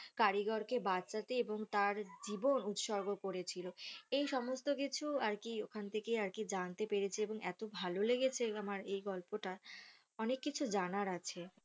কারিগর কে বাঁচাতে এবং তার জীবন উৎসর্গ করেছিল এই সমস্ত কিছু আর কি ওখান থেকে আর কি জানতে পেরেছি এবং এত ভালো লেগেছে আমার এই গল্পটা অনেক কিছু জানার আছে